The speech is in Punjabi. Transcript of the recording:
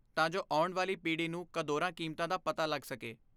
ਤਾਂ ਜੋ ਆਉਣ ਵਾਲੀ ਪੀੜ੍ਹੀ ਨੂੰ ਕਦਰਾਂ ਕੀਮਤਾਂ ਦਾ ਪਤਾ ਲੱਗ ਸਕੇ